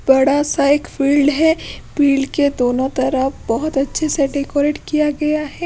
बड़ा सा एक फील्ड है फील्ड के दोनों तरफ बहुत अच्छे से डेकोरेट किया गया है।